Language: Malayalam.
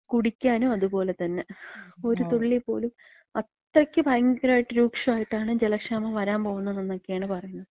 കുടിക്കാനും അതുപോലെതന്നെ. ഒരു തുള്ളി പോലും. അത്രയ്ക്ക് ഭയങ്കരായിട്ട് രൂക്ഷായിട്ടാണ് ജലക്ഷാമം വരാൻ പോകുന്നതെന്നൊക്കെയാണ് പറയണത്.